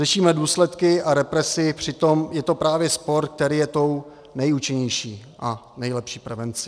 Řešíme důsledky a represi, přitom je to právě sport, který je tou nejúčinnější a nejlepší prevencí.